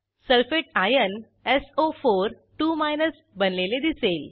sulphate ion सो42 बनलेले दिसेल